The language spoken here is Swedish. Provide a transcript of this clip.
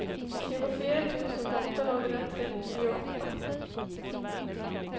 tjugofyra tusen åttahundratrettioåtta